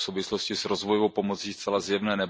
Je to v souvislosti s rozvojovou pomocí zcela zjevné.